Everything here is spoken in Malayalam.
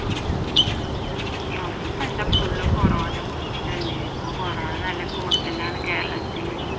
news ഇപ്പ എന്താ full കൊറോണ കുറിച്ചിട്ടല്ലേ ഇപ്പൊ കോറോണ നല്ല കൂടുതലാണ് കേരളത്തിൽ